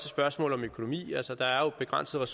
spørgsmål om økonomi altså der er jo begrænsede